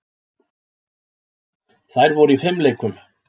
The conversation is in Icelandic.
Þær voru í fimleikum.